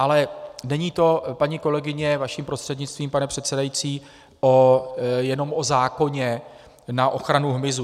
Ale není to, paní kolegyně, vaším prostřednictvím, pane předsedající, jenom o zákoně na ochranu hmyzu.